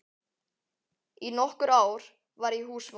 Í nokkur ár var ég húsmóðir á